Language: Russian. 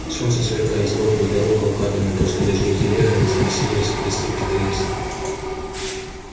солнце сверкает сбоку и дорога укатанная после дождей телегами замаслилась и блестит как рельсы